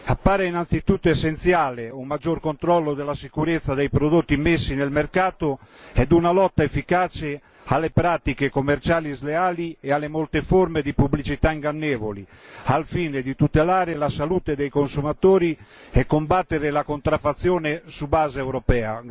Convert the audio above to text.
Appare innanzitutto essenziale un maggior controllo della sicurezza dei prodotti immessi nel mercato e una lotta efficace alle pratiche commerciali sleali e alle molte forme di pubblicità ingannevoli, al fine di tutelare la salute dei consumatori e combattere la contraffazione su base europea.